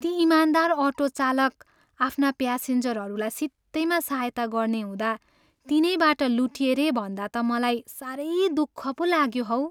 ती इमानदार अटो चालक आफ्ना प्यासेन्जरहरूलाई सित्तैमा सहायता गर्ने हुँदा तिनैबाट लुटिए रे भन्दा त मलाई साह्रै दुःख पो लाग्यो हौ।